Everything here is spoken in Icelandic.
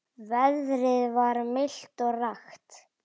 Veðrið var milt og rakt.